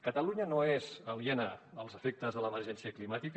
catalunya no és aliena als efectes de l’emergència climàtica